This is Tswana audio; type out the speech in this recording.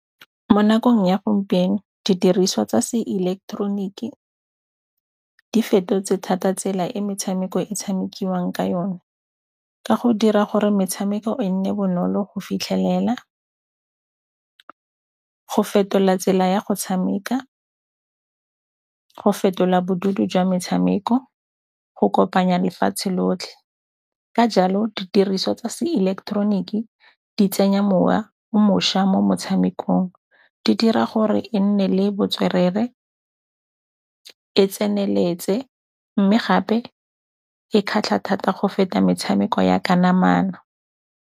Mo nakong ya gompieno didiriswa tsa seileketeroniki di fetotse thata tsela e metshameko e tshamekiwang ka yone, ka go dira gore metshameko e nne bonolo go fitlhelela. Go fetola tsela ya go tshameka, go fetola jwa metshameko, go kopanya lefatshe lotlhe. Ka jalo didiriswa tsa seileketeroniki di tsenya mowa mošwa mo motshamekong, di dira gore e nne le botswerere, e tseneletse mme gape e kgatlha thata go feta metshameko ya ka namana.